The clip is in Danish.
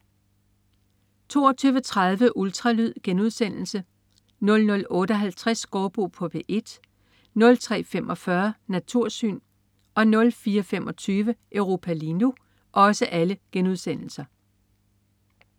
22.30 Ultralyd* 00.58 Gaardbo på P1* 03.45 Natursyn* 04.25 Europa lige nu*